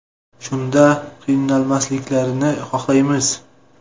Shunda qiynalmasliklarini xohlaymiz.